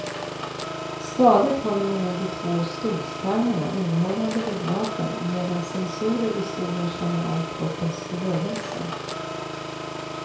Stadigt håller man i de två stolskarmarna innehållande reglagen medan sensorer i stolen känner av kroppens rörelser.